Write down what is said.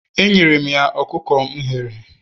Enyere m ya ọkụkọ m ghere